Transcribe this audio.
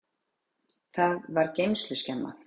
Það var geymsluskemma.